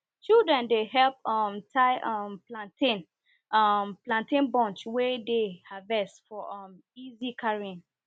children dey help um tie um plantain um plantain bunch wey dem harvest for um easy carrying